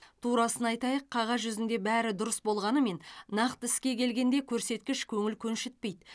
турасын айтайық қағаз жүзінде бәрі дұрыс болғанымен нақты іске келгенде көрсеткіш көңіл көншітпейді